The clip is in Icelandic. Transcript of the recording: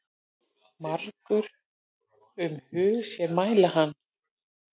Margur um hug sér mæla kann.